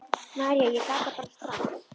María: Ég gat það bara strax.